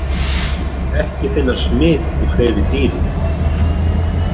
Ekki fannst smit í fleiri dýrum.